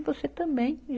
E você também.